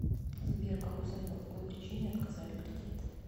сбер как узнать по какой причине отказали кредит